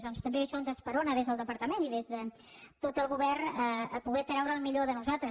doncs també això ens esperona des del departament i des de tot el govern a poder treure el millor de nosaltres